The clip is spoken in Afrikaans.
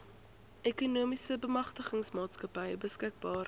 ekonomiese bemagtigingsmaatskappy beskikbaar